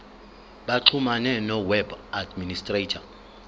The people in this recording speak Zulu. baxhumane noweb administrator